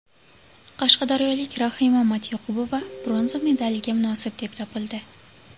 Qashqadaryolik Rahima Matyoqubova bronza medaliga munosib deb topildi.